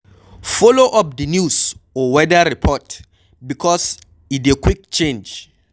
Follow up di news or weather report because e dey quick change